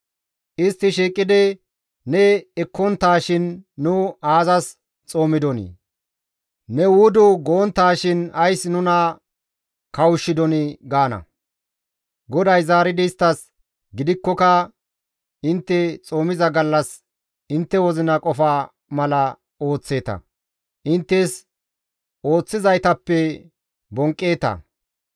Istti shiiqidi, «Ne ekkonttaashin nu aazas xoomidonii? Ne wudu gonttaashin ays nuna kawushshidonii?» gaana. GODAY zaaridi isttas, «Gidikkoka intte xoomiza gallas intte wozina qofa mala ooththeeta; inttes ooththizaytappe bonqqeeta.